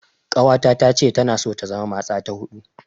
Ƙawata tace tana so ta zama matsa ta huɗu.